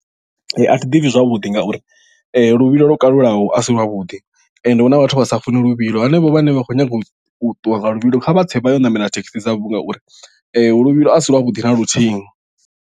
Ee athi ḓipfhi zwavhuḓi ngauri luvhilo lwo kalulaho asi lwavhuḓi ende hu na vhathu vha sa funi luvhilo hanevho vhane vha khou nyaga u ṱuwa nga luvhilo kha vhatse vha ye u ṋamela thekhisi dzavho ngauri luvhilo asi lwavhuḓi na luthihi.